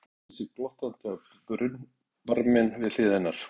Hann tyllti sér glottandi á brunnbarminn við hlið hennar.